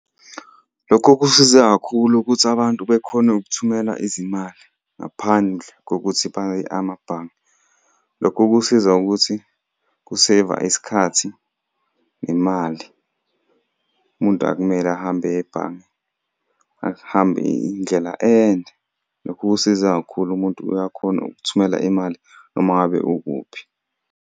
Lokho kusize kakhulu ukuthi abantu bekhone ukuthumela izimali ngaphandle kokuthi baye amabhange. Lokho kusiza ukuthi ku-seyiva isikhathi nemali. Umuntu akumele ahambe eye ebhange, ahambe indlela ende. Lokhu kusiza kakhulu umuntu uyakhona ukuthumela imali noma ngabe ukuphi.